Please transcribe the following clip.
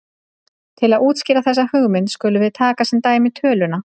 Til að útskýra þessa hugmynd skulum við taka sem dæmi töluna